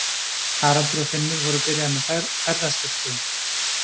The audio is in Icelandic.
Haraldur og Finnur voru byrjaðir með ferðaskrifstofu.